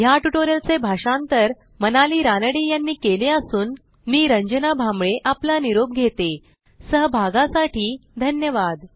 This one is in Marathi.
ह्या ट्युटोरियलचे भाषांतर मनाली रानडे यांनी केले असून मी रंजना भांबळे आपला निरोप घेते160सहभागासाठी धन्यवाद